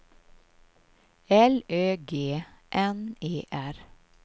L Ö G N E R